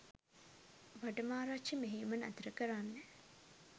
වඩමාරච්චි මෙහෙයුම නතර කරන්න